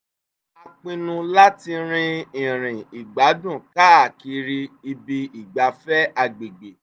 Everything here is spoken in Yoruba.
a pinnu láti rin ìrìn ìgbádùn káàkiri ibi ìgbafẹ́ agbègbè